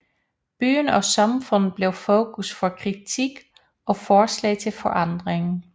Byen og samfundet blev fokus for kritik og forslag til forandring